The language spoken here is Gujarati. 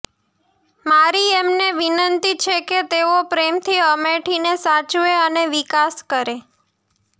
મારી એમને વિનંતી છે કે તેઓ પ્રેમથી અમેઠીને સાચવે અને વિકાસ કરે